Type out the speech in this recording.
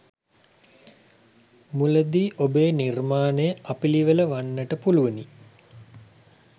මුලදී ඔබේ නිර්මාණය අපිළිවෙළ වන්නට පුළුවනි.